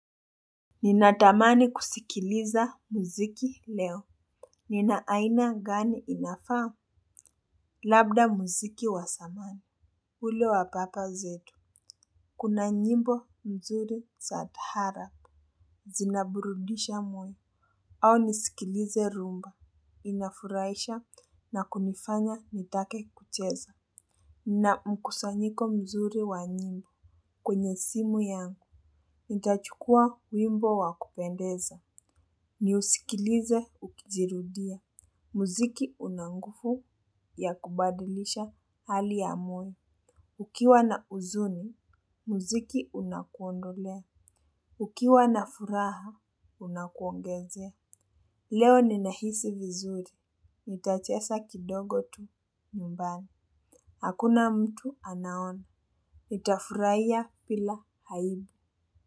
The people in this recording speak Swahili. Ninatamani kusikiliza muziki leo. Nina aina gani inafaa. Labda muziki wa zamani ule wa baba zetu. Kuna nyimbo mzuri za taaarabu. Zinaburudisha moyo. Au nisikilize rhumba. Inafurahisha na kunifanya nitake kucheza. Nina mkusanyiko mzuri wa nyimbo. Kwenye simu yangu. Nitachukua wimbo wa kupendeza. Ni usikilize ukijirudia. Muziki una nguvu ya kubadilisha hali ya mwili. Ukiwa na huzuni, muziki unakuondolea. Ukiwa na furaha, unakuongezea. Leo ninahisi vizuri. Nitacheza kidogo tu nyumbani. Hakuna mtu anaona. Nitafurahia bila aibu.